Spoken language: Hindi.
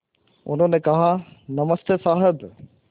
उन्होंने कहा नमस्ते साहब